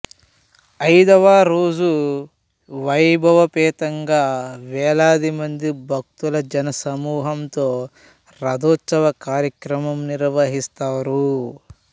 ఐదవ రోజు వైభవోపేతంగా వేలాదిమంది భక్తుల జనసమూహంతో రథోత్సవ కార్యక్రమం నిర్వహిస్తారు